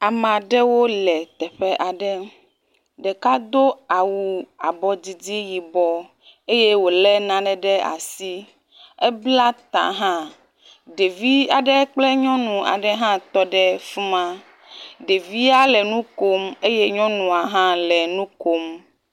Ame aɖewo le teƒe aɖe. Ɖeka do awu abɔdidi yibɔ eye wo le nane ɖe asi. Ebla ta hã. Ɖevi aɖe kple nyɔnu aɖe hã tɔ ɖe fi ma. Ɖevia le nu kom eye nyɔnua hã le nu kom.